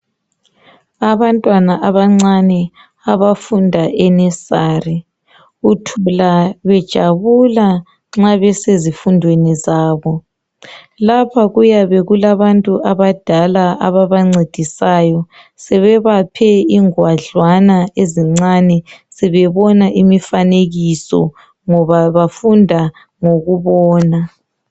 Abantwana abancane, abafunda enesari. Uthola bejabula nxa besezifundweni zabo. Lapha kuyabe kulabantu abadala ababancedisayo sebebaphe ingwadlwana ezincane, sebebona imifanekiso ngoba befunda ngokubona.